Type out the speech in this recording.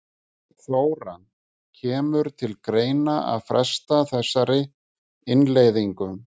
Þóra: Kemur til greina að fresta þessari innleiðingu?